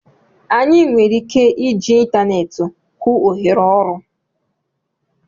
Anyị nwere ike iji ịntaneetị hụ ohere ọrụ